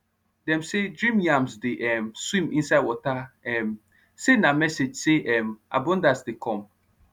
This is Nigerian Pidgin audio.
dem say dream yams dey um swim inside water um say na message say um abundance dey come